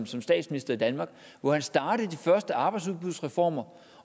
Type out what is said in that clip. som statsminister i danmark hvor han startede de første arbejdsudbudsreformer